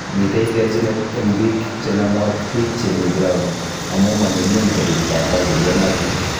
Mitei terjinet eng biik chenomu ak biik chemii ground ,amuu manyumnyum kobiit data che iyonotin